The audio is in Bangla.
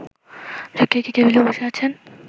ছোট্ট একটি টেবিলে বসে আছেন